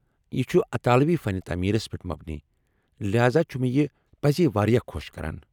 یہِ چُھ اطالوی فن تعمیرس پٮ۪ٹھ مبنی ، لہذا چھُ مےٚ یہِ پزے واریاہ خو٘ش كران ۔